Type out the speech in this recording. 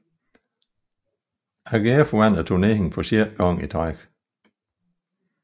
AGF vandt turneringen for sjette gang